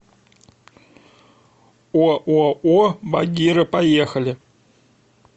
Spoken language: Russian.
ооо багира поехали